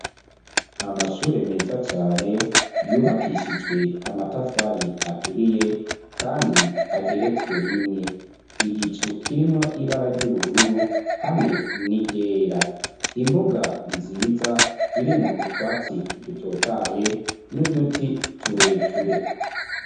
Amashure meza cane yubakishijwe amatafari aturiye kandi ageretswe rimwe. Igicu kirimwo ibara ry'ubururu hamwe n'iryera. Imbuga nziza irimwo utwatsi dutotahaye n'uduti tureture.